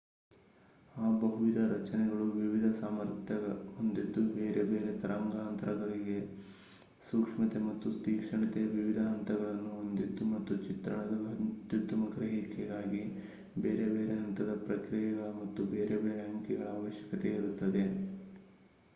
ಆ ಬಹುವಿಧ ರಚನೆಗಳು ವಿವಿಧ ಸಾಮರ್ಥ್ಯ ಹೊಂದಿದ್ದು ಬೇರೆ ಬೇರೆ ತರಂಗಾಂತರಂಗಗಳಿಗೆ ಸೂಕ್ಷ್ಮತೆ ಮತ್ತು ತೀಕ್ಷ್ಣತೆಯ ವಿವಿಧ ಹಂತಗಳನ್ನು ಹೊಂದಿದ್ದು ಮತ್ತು ಚಿತ್ರಣದ ಅತ್ಯುತ್ತಮ ಗ್ರಹಿಕೆಗಾಗಿ ಬೇರೆ ಬೇರೆ ಹಂತದ ಪ್ರಕ್ರಿಯೆಗಳ ಮತ್ತು ಬೇರೆ ಬೇರೆ ಅಂಕಿಗಳ ಅವಶ್ಯಕತೆಯಿರುತ್ತದೆ